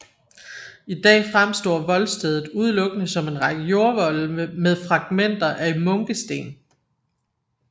I dag fremstår voldstedet udelukkende som en række jordvolde med fragmenter af munkesten